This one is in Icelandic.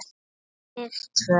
Við tvö.